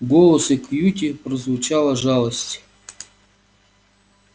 в голосе кьюти прозвучала жалость